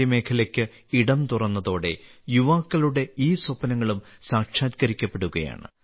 സ്വകാര്യ മേഖലയ്ക്ക് ഇടം തുറന്നതോടെ യുവാക്കളുടെ ഈ സ്വപ്നങ്ങളും സാക്ഷാത്കരിക്കപ്പെടുകയാണ്